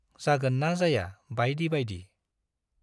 जागोन ना जाया बाइदि बाइदि ।